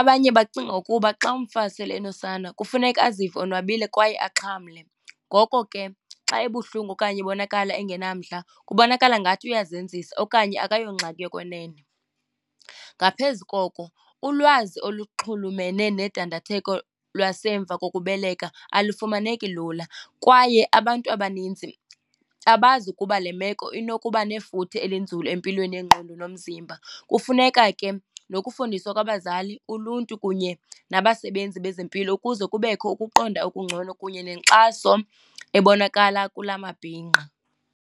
Abanye bacinga ukuba xa umfazi sele enosana kufuneka azive onwabile kwaye axhamle. Ngoko ke xa ebuhlungu okanye ebonakala engenamdla kubonakala ngathi uyazenzisa okanye akayongxaki yokwenene. Ngaphezu koko ulwazi oluxhulumene nedandatheko lwasemva kokubeleka alufumaneki lula, kwaye abantu abanintsi abazi ukuba le meko inokuba nefuthe elinzulu empilweni yengqondo nomzimba. Kufuneka ke nokufundiswa kwabazali, uluntu kunye nabasebenzi bezempilo ukuze kubekho ukuqonda okungcono kunye nenkxaso ebonakala kula mabhinqa.